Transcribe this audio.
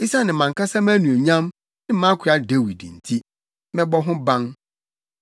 Esiane mʼankasa mʼanuonyam ne mʼakoa Dawid nti, mɛbɔ ho ban.”